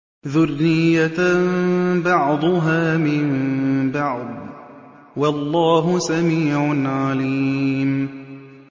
ذُرِّيَّةً بَعْضُهَا مِن بَعْضٍ ۗ وَاللَّهُ سَمِيعٌ عَلِيمٌ